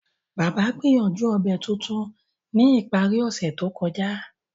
Baba gbìyànjú obẹ̀ tuntun ni ìparí ọ̀sẹ̀ to kọja.